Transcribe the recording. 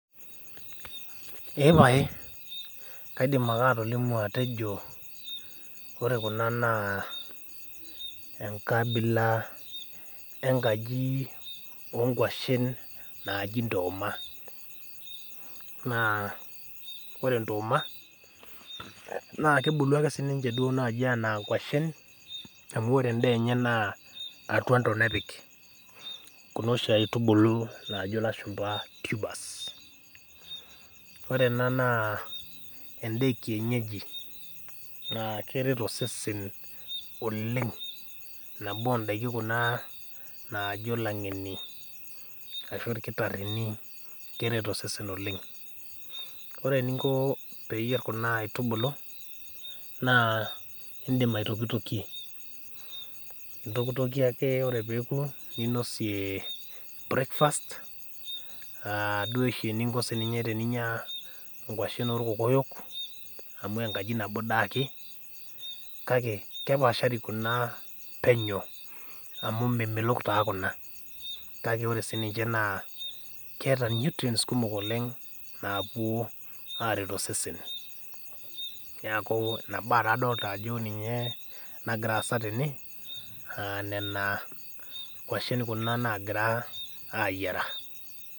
Kaidim ake atolimu ajo ore kuna naa enkabila enkaji ookwashen naaji ntooma, naa ore ntooma naa kebulu ake siininche naji anaa kwashen amu ore endaa enye naa atwa ntonat epik Kuna oshi aitubulu naajo lashumpa tubers ore ena naa endaa ekienyeji naa keret osesen oleng nabo ondaiki Kuna naajo langeni ashu irkitarini keret osesen oleng ore eninko pee iyier Kuna aitubulu, naa indim aitokitokie ,ontokitokie ake ore pee eku ninosie breakfast duo oshi venye eninya siininche nkwashen orkokoyok amu nekaji nabo dei ake kake kepaashari kuna penyo amu memelok taa kuna kake ore siininche naa keeta nutrients kumok oleng napuo aret osesen. neeku ina bae adolita ajo ninye nagira aasa tene ,nena kwashen kuna naagira ayiera.